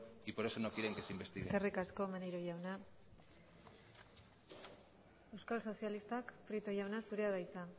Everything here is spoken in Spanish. y por eso no quieren que se investigue eskerrik asko maneiro jauna euskal sozialistak prieto jauna zurea da hitza